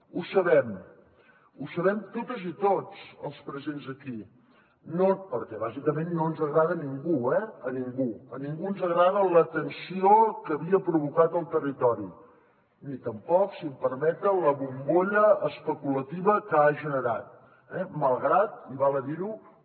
ho sabem ho sabem totes i tots els presents aquí perquè bàsicament no ens agrada a ningú eh a ningú a ningú ens agrada la tensió que havia provocat al territori ni tampoc si em permeten la bombolla especulativa que ha generat malgrat i val a dir ho